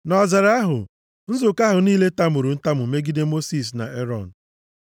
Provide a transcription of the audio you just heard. Nʼọzara ahụ, nzukọ ahụ niile tamuru ntamu megide Mosis na Erọn.